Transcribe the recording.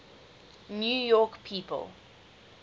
new york people